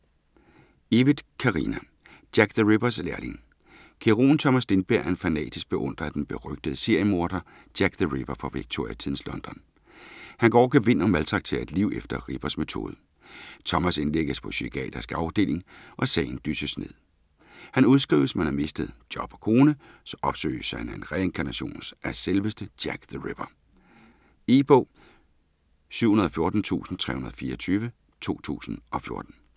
Evytt, Carina: Jack the Rippers lærling Kirurgen Thomas Lindberg er en fanatisk beundrer af den berygtede seriemorder Jack the Ripper fra Victoria-tidens London. Han går over gevind og maltrakterer et lig efter Rippers metode. Thomas indlægges på psykiatrisk afdeling, og sagen dysses ned. Han udskrives men har mistet job og kone. Så opsøges han af en reinkarnation af selveste Jack the Ripper. E-bog 714324 2014.